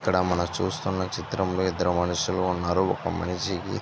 ఇక్కడ మనం చూస్తున్న చిత్రంలో ఇద్దరు మనుషులు ఉన్నారు ఒక మనిషికి --